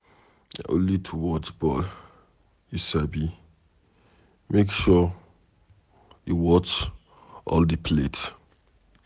Na only to watch ball you sabi, make sure you watch all the plate.